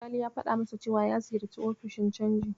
Gali ya faɗa masa cewa ya ziyarci ofishin canji.